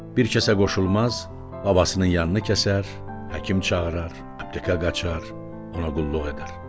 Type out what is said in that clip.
Bir kəsə qoşulmaz, babasının yanını kəsər, həkim çağırar, aptekə qaçar, ona qulluq edər.